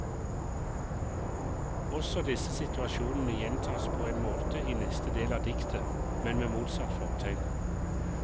Også disse situasjonene gjentas på en måte i neste del av diktet, men med motsatt fortegn.